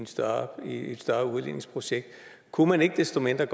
større udligningsprojekt kunne man ikke desto mindre